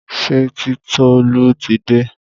Ṣé Titolú ti dé?